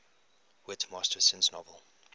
whit masterson's novel